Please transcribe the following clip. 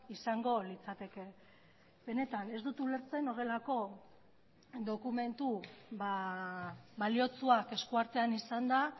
izango litzateke benetan ez dut ulertzen horrelako dokumentu baliotsuak eskuartean izanda